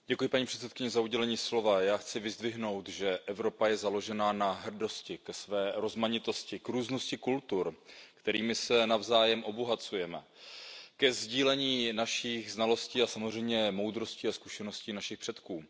Paní předsedající, já chci vyzdvihnout, že Evropa je založena na hrdosti ke své rozmanitosti, k různosti kultur, kterými se navzájem obohacujeme, ke sdílení našich znalostí a samozřejmě moudrosti a zkušeností našich předků.